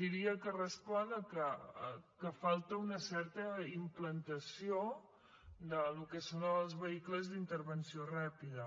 diria que respon al fet que falta una certa implantació del que són els vehicles d’intervenció ràpida